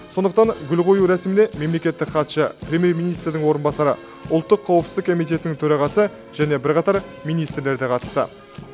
сондықтан гүл қою рәсіміне мемлекеттік хатшы премьер министрдің орынбасары ұлттық қауіпсіздік комитетінің төрағасы және бірқатар министрлер де қатысты